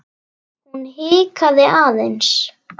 Hún hikaði aðeins.